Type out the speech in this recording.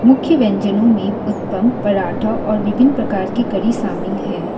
मुख्य व्यंजनों में उत्तम पराठा और विभिन्न प्रकार की कड़ी शामिल है।